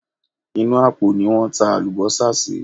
Inú àpò ni wọ́n ta àlùbọ́sà sí.